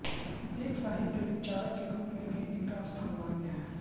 एक साहित्य विचारक के रूप में भी इनका स्थान मान्य है